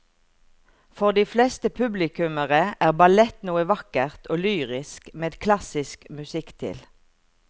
For de fleste publikummere er ballett noe vakkert og lyrisk med klassisk musikk til.